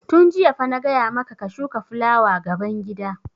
Tun jiya fa na gaya ma ka ka shuka fulawa gaban gida!